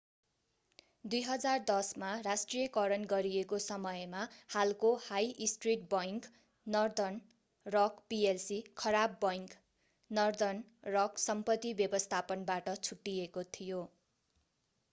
2010 मा राष्ट्रियकरण गरिएको समयमा हालको high street bank Northern Rock PLC 'खराब बैंक' नर्दर्न रक सम्पत्ति व्यवस्थापन बाट छुट्टिएको थियो।